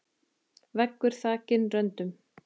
Veggur þakinn röndum.